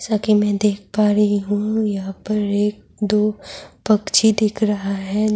جیسا کی می دیکھ پا رہی ہو یھاں پر ایک دو پکچی دکھ رہا ہے-